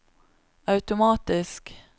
automatisk